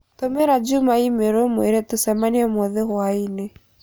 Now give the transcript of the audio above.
Tũmĩra Juma i-mīrū ũmũire tũcemanie ũmũthĩ hwaĩinĩ